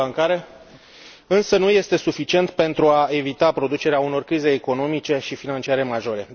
uniunii bancare, însă nu este suficient pentru a evita producerea unor crize economice și financiare majore.